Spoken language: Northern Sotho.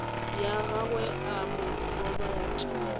ya gagwe a mo robatša